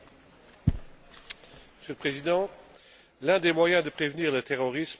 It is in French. Monsieur le Président, l'un des moyens de prévenir le terrorisme est le renseignement.